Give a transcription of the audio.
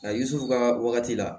A yisi u ka wagati la